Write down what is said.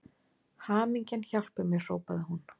Hamingjan hjálpi mér hrópaði hún.